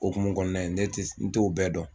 Okumu kɔnɔna ye ne tɛ n t'o bɛɛ dɔn